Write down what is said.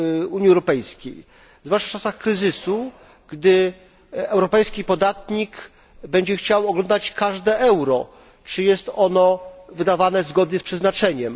Unii Europejskiej, zwłaszcza w czasach kryzysu, gdy europejski podatnik będzie chciał oglądać każde euro, czy jest ono wydawane zgodnie z przeznaczeniem.